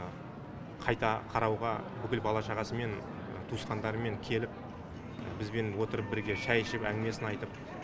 қайта қарауға бүкіл бала шағасымен туысқандарымен келіп бізбен отырып бірге шай ішіп әңгімесін айтып